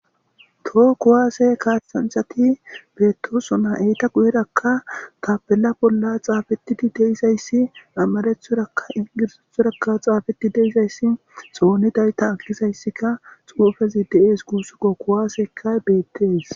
toho kuwaase kaasanthati beettosona eyta guyerakka tapela bolla xaafetidi deizayssi ammarethoraka ingirsethorakka xaafeti deizayssi xooni dayta akisayssika xoofezi de7ees guussuko kuwaasekay beettees